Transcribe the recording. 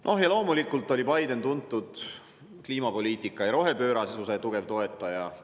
No ja loomulikult oli Biden tuntud kui kliimapoliitika ja rohepöörasuse tugev toetaja.